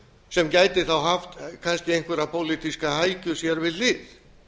sem gæti þá haft kannski einhverja pólitíska hækju sér við hlið